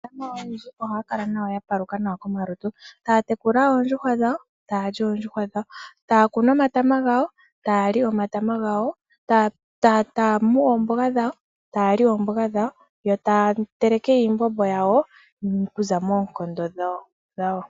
Aamafaalama oyendji ohaya kala ya paluka nawa komalutu, taya tekula oondjuhwa dhawo, taa li oondjuhwa dhawo. Ohaya kunu omatama gawo, e taya li omatama gawo, taa mu oomboga dhawo, yo taya li oomboga dhawo yo taya teleke iimbombo yawo okuza moonkondo dhawo.